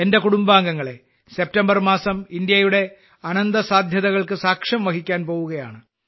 എന്റെ കുടുംബാംഗങ്ങളെ സെപ്റ്റംബർ മാസം ഇന്ത്യയുടെ അനന്തസാധ്യതകൾക്ക് സാക്ഷ്യം വഹിക്കാൻ പോവുകയാണ്